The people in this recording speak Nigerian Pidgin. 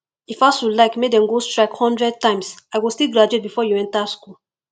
if asuu like make dem go strike hundred times i go still graduate before you enter school